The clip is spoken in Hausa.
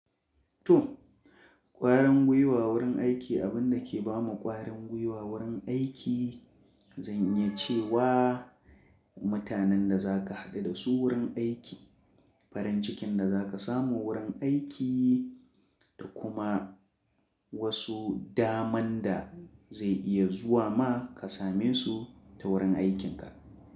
To, ƙwarin gwiwa wurin aiki abin da ke ba mu ƙwarin gwiwa wurin aiki, zan iya ce wa mutanen da za ka haɗu da su wurin aiki, farin cikin da za ka samu wurin aiki da kuma wasu daman da zai iya zuwa ma ka same su ta wurin aikinka.